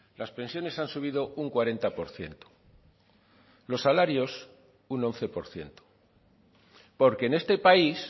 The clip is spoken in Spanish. las pensiones han subido un cuarenta por ciento los salarios un once por ciento porque en este país